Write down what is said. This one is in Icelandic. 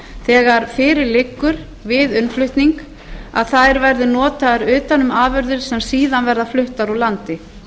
þegar fyrir liggur við innflutning að þær verði notaðar utan um afurðir sem síðan verða fluttar úr landi